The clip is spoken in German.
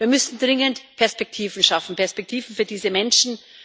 Wir müssen dringend Perspektiven schaffen Perspektiven für diese Menschen.